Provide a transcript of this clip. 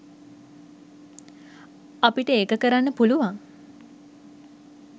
අපිට ඒක කරන්න පුළුවන්.